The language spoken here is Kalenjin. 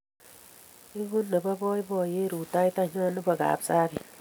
Egu nepo poipoyet rutoitonyo nepo Kapsabet